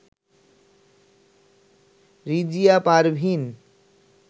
Rizia Parveen